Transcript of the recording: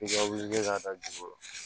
I ka wuli ka da dugu kɔrɔ